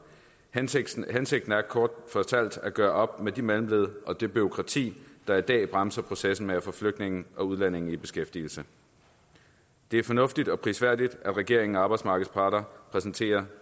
hensigten hensigten er kort fortalt at gøre op med de mellemled og det bureaukrati der i dag bremser processen med at få flygtninge og udlændinge i beskæftigelse det er fornuftigt og prisværdigt at regeringen og arbejdsmarkedets parter præsenterer